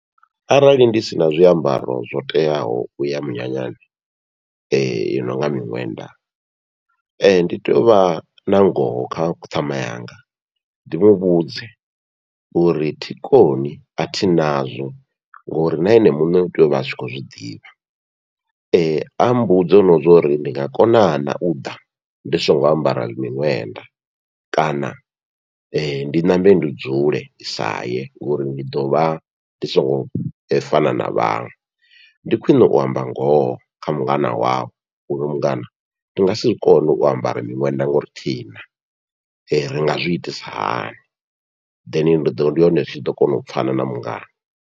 Arali ndi sina zwiambaro zwo teaho uya munyanyani i nonga miṋwenda, ndi tea uvha na ngoho kha ku ṱhama yanga ndi mavhudze uri thi koni athi nazwo, ngori na ene muṋe utea uvha atshi khou zwiḓivha ammbudze no zwori ndi nga kona na uḓa ndi songo ambara miṅwenda kana ndi ṋambe ndi dzule ndi saye ngori ndi ḓovha ndi songo fana na vhaṅwe, ndi khwiṋe u amba ngoho kha mungana wau uri mungana ndi ngasi zwikone u ambara miṅwenda ngauri thina ri nga zwi itisa hani, then ndi ḓo ndi hone ndi tshi ḓo kona u pfhana na mungana.